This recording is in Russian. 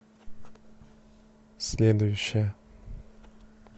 следующая